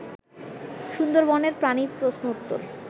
সুন্দরবনের প্রাণী প্রশ্ন উত্তর